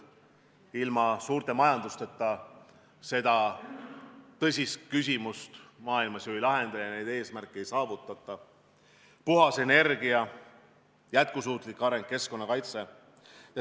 Ilma suurte majandusteta seda tõsist küsimust maailmas ju ei lahendata ja neid eesmärke ei saavutata: puhas energia, jätkusuutlik areng, keskkonnakaitse.